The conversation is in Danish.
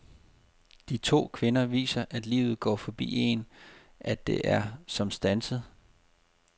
De to kvinder viser, at livet går forbi en, at det er som standset.